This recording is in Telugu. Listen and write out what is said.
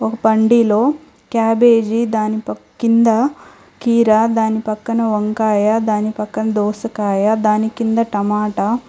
ఒక బండిలో క్యాబేజీ దాని కింది కీరా దాని పక్కన వంకాయ దాని పక్కన దోసకాయ దాని కింద టమాటా --